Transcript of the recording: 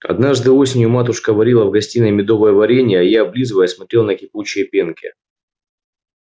однажды осенью матушка варила в гостиной медовое варенье а я облизываясь смотрел на кипучие пенки